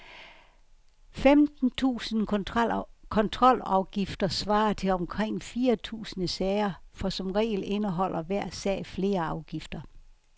Femten tusinde kontrolafgifter svarer til omkring fire tusinde sager, for som regel indeholder hver sag flere afgifter.